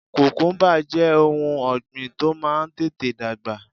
Kùkúmbà jẹ́ ohun ọ̀gbìn tó máa ń tètè dàgbà